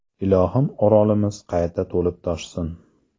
Ilohim Orolimiz qayta to‘lib-toshsin.